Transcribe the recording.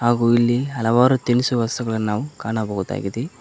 ಹಾಗು ಇಲ್ಲಿ ಹಲವಾರು ತಿನಿಸುವ ವಸ್ತುಗಳನ್ನು ನಾವು ಕಾಣಬಹುದಾಗಿದೆ.